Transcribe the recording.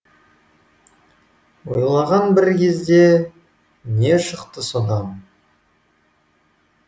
ойлаған бір кезде не шықты содан